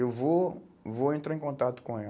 eu vou, vou entrar em contato com